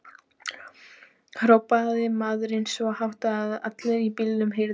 hrópaði maðurinn svo hátt að allir í bílnum heyrðu.